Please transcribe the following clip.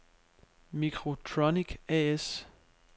Microtronic A/S